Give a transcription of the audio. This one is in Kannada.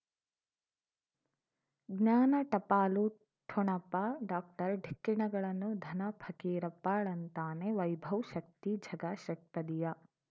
ಜ್ಞಾನ ಟಪಾಲು ಠೊಣಪ ಡಾಕ್ಟರ್ ಢಿಕ್ಕಿ ಣಗಳನು ಧನ ಫಕೀರಪ್ಪ ಳಂತಾನೆ ವೈಭವ್ ಶಕ್ತಿ ಝಗಾ ಷಟ್ಪದಿಯ